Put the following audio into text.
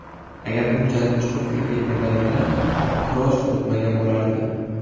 Agar bunchalik chuqur kirib ketmaganingda, kross o‘tmagan bo‘lardi”.